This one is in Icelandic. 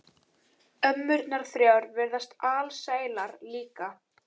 Ömmurnar þrjár virðast alsælar líka.